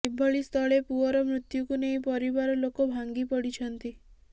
ଏଭଳି ସ୍ଥଳେ ପୁଅର ମୃତ୍ୟୁକୁ ନେଇ ପରିବାର ଲୋକ ଭାଙ୍ଗି ପଡ଼ିଛନ୍ତି